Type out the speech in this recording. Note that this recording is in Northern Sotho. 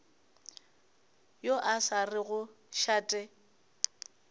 yo a sa rego šate